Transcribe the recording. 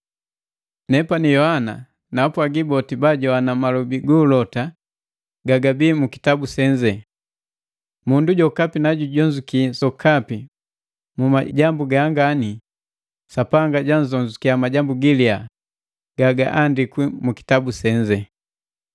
Nepani na Yohana naapwagi boti baajowana malobi gu ulota gagabii mu kitabu senze: Mundu jokapi najujonzuki sokapi mu majambu gangani, Sapanga jwanzonzukia majambu giliya gagaandikwi mu kitabu senze.